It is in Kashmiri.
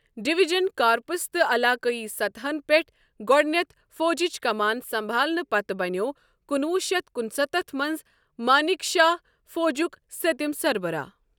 ڈوژن کارپس تہٕ علاقٲیی سطحن پٮ۪ٹھ گۄڈنٮ۪تھ فوجچہِ كمان سمبھالنہٕ پتہٕ بنیٛوو کُنوُہ شیتھ کنستتھ منٛز مانِک شاہ فوجک سٔتِم سربراہ۔